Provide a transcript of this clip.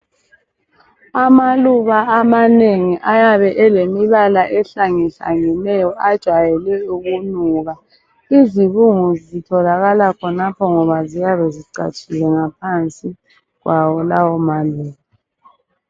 Amaluba amanengi ayabe elemibala ehlangehlangeneyo ajwayele ukunuka. Izibungu zitholakala khonapho ngoba ziyabe zicatshile ngaphansi kwawo lawo maluba.